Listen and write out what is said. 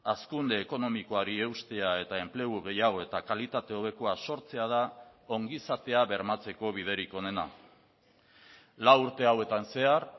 hazkunde ekonomikoari eustea eta enplegu gehiago eta kalitate hobekoa sortzea da ongizatea bermatzeko biderik onena lau urte hauetan zehar